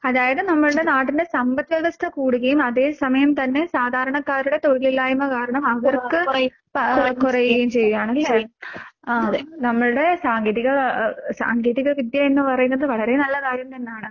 അതായത് നമ്മൾടെ നാടിന്റെ സമ്പത്വ്യവസ്ഥ കൂടുകയും അതേസമയം തന്നെ സാധാരണക്കാരുടെ തൊഴിലില്ലായ്മ കാരണം അവർക്ക് ആഹ് കൊറയുകയും ചെയ്യാണല്ലേ. ആഹ് നമ്മൾടെ സാങ്കേതിക അഹ് സാങ്കേതിക വിദ്യയെന്ന് പറയുന്നത് വളരെ നല്ല കാര്യം തന്നാണ്.